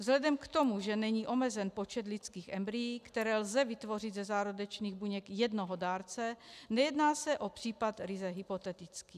Vzhledem k tomu, že není omezen počet lidských embryí, která lze vytvořit ze zárodečných buněk jednoho dárce, nejedná se o případ ryze hypotetický.